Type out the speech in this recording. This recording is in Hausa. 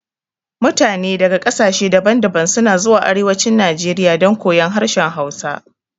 Mutane daga ƙasashe daban daban suna zuwa arewacin najeriya don koyon harshen hausa